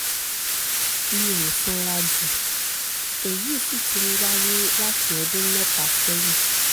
mi ò sanra jù èyí sì ti ń wáyé láti ọdún mẹ́ta sẹ́yìn